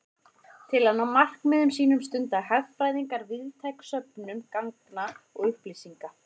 Til að ná markmiðum sínum stunda hagfræðingar víðtæka söfnun gagna og upplýsinga.